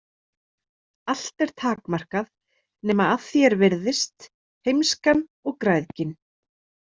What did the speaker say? Allt er takmarkað nema að því er virðist heimskan og græðgin.